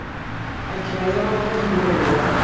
ভাই খেল জনা মানুহ থাকিব লাগিব না